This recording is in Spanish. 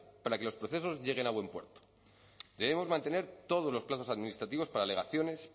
para que los procesos lleguen a buen puerto debemos mantener todos los plazos administrativos para alegaciones